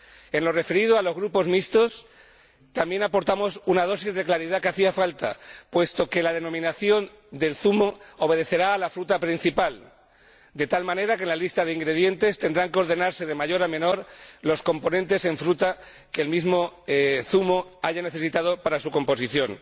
En lo referido a los zumos mixtos, también aportamos una dosis de claridad que hacía falta, puesto que la denominación del zumo obedecerá a la fruta principal, de tal manera que, en la lista de ingredientes, tendrán que ordenarse de mayor a menor las distintas frutas que el mismo zumo haya necesitado para su composición.